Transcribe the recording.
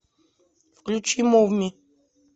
включи мув ми